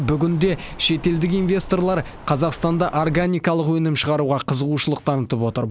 бүгінде шетелдік инвесторлар қазақстанда органикалық өнім шығаруға қызығушылық танытып отыр